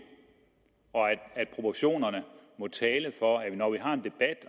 og at proportionerne må tale for at vi når vi har en debat